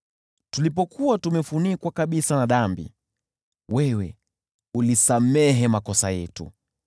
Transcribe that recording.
Tulipokuwa tumefunikwa kabisa na dhambi, wewe ulisamehe makosa yetu.